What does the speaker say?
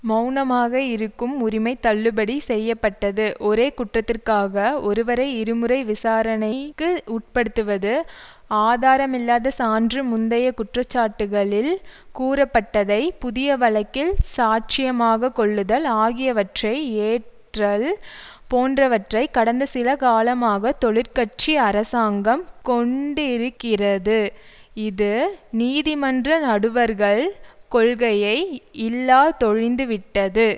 மெளனமாக இருக்கும் உரிமை தள்ளுபடி செய்ய பட்டது ஒரே குற்றத்திற்காக ஒருவரை இருமுறை விசாரணைக்கு உட்படுத்துவது ஆதாரமில்லாத சான்று முந்தைய குற்றச்சாட்டுக்களில் கூறப்பட்டதை புதிய வழக்கில் சாட்சியமாக கொள்ளுதல் ஆகியவற்றை ஏற்றல் போன்றவன்றை கடந்த சில காலமாக தொழிற்கட்சி அரசாங்கம் கொண்டிருக்கிறது இது நீதிமன்ற நடுவர்கள் கொள்கையை இல்லாதொழிந்துவிட்டது